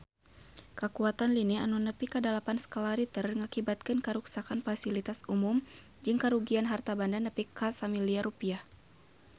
Kakuatan lini nu nepi dalapan skala Richter ngakibatkeun karuksakan pasilitas umum jeung karugian harta banda nepi ka 1 miliar rupiah